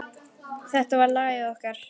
Þetta var lagið okkar.